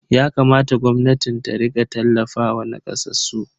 Yakamata gwamnatin ta rika tallafawa nakasassu.